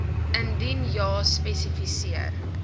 indien ja spesifiseer